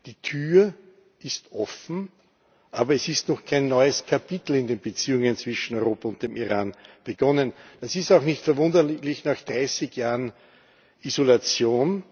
Die Tür ist offen, aber es hat noch kein neues Kapitel in den Beziehungen zwischen Europa und dem Iran begonnen. Das ist auch nicht verwunderlich nach 30 Jahren Isolation.